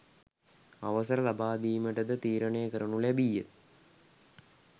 අවසර ලබාදීමට ද තීරණය කරනු ලැබීය